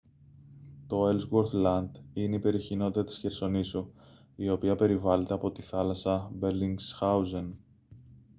το έλσγουορθ λαντ είναι η περιοχή νότια της χερσονήσου η οποία περιβάλλεται από τη θάλασσα μπελινγκσχάουζεν